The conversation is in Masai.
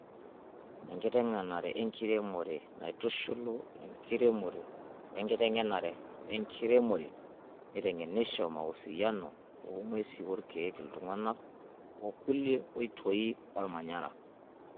Enkiteng'enare enkiremore, naitushul enkiremore wenkiteng'enare enkiremore. Neiteng'enosho mausiano oong'wesi, rkiek, iltung'ana okulie oitoi olmanyara.